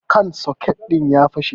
kan soket din ya fashe